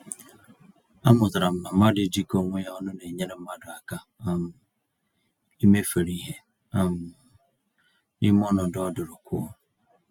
Amụtara m na mmadụ ijikọ onwe ya ọnụ nenyere mmadụ aka um imefere ìhè um n'ime ọnọdụ ọdụrụkụọ.